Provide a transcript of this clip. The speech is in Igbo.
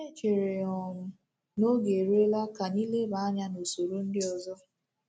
E chere um m na oge eruola ka anyị lebaa anya n’usoro ndị ọzọ. ’”